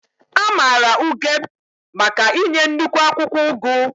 A maara Ugeb maka inye nnukwu akwụkwọ ugu.